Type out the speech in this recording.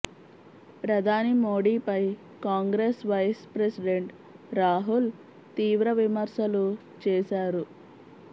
ప్రధాని మోడీపై Congress vice president Rahul తీవ్ర విమర్శలు చేశారు